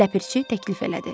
Ləpirçi təklif elədi.